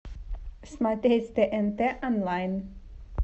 смотреть тнт онлайн